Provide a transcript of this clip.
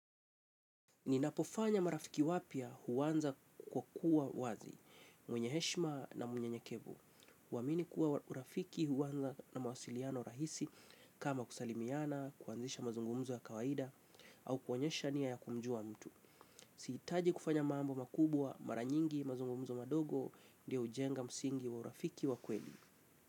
Ninapofanya marafiki wapya huanza kwa kua wazi, mwenye heshima na mnyenyekevu. Huamini kuwa urafiki huanza na mawasiliano rahisi kama kusalimiana, kuanzisha mazungumzo ya kawaida, au kuonyesha nia ya kumjua mtu. Sihitaji kufanya mambo makubwa, mara nyingi, mazungumzo madogo, ndio hujenga msingi wa urafiki wa kweli.